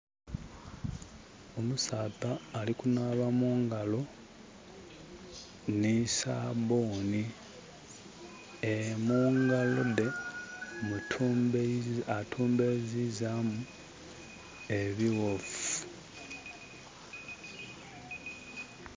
Omusaadha ali kunaaba mungalo ni sabbuni. Mu ngalo de attumbezizamu ebiwovu